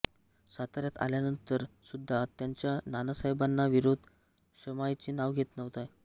साताऱ्यात आल्यानंतर सुद्धा त्यांचा नानासाहेबांना विरोध शमायचे नाव घेत नव्हता